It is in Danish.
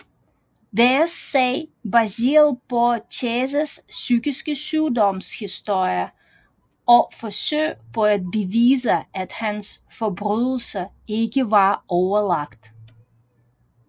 Deres sag baseret på Chases psykiske sygdoms historie og forsøg på at bevise at hans forbrydelser ikke var overlagt